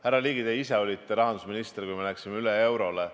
Härra Ligi, te olite ise rahandusminister, kui me läksime üle eurole.